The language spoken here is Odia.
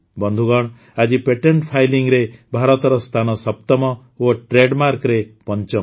ବନ୍ଧୁଗଣ ଆଜି ପେଟେଣ୍ଟ ଫାଇଲିଂରେ ଭାରତର ସ୍ଥାନ ସପ୍ତମ ଓ ଟ୍ରେଡମାର୍କରେ ପଞ୍ଚମ